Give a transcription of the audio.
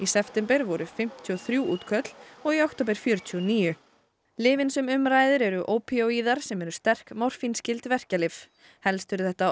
september voru fimmtíu og þrjú útköll og í október fjörutíu og níu lyfin sem um ræðir eru ópíóíðar sem eru sterk verkjalyf helst eru þetta